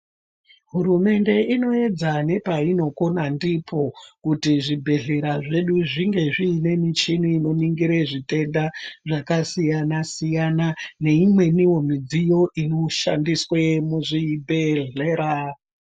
Hurumende inoedza nepainokona ndipo kuti zvibhehlera zvedu zvinge zviine michini inoningire zvitenda zvakasiyana -siyana neimweniwo midziyo ino shandiswe muzvibhehlera.